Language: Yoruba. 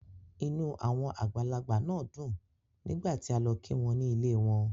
Inú àwọn àgbàlagbà náà dùn nígbà tí a lọ kí wọn ní ilée won.